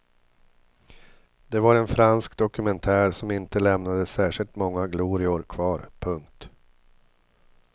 Det var en fransk dokumentär som inte lämnade särskilt många glorior kvar. punkt